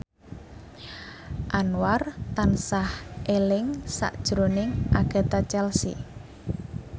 Anwar tansah eling sakjroning Agatha Chelsea